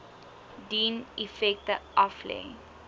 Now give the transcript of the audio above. dien effekte aflê